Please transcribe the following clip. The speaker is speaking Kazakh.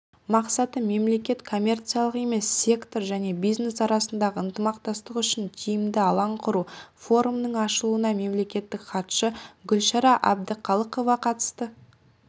мақсаты мемлекет коммерциялық емес сектор және бизнес арасындағы ынтымақтастық үшін тиімді алаң құру форумның ашылуына мемлекеттік хатшы гүлшара әбдіқалықова қатысты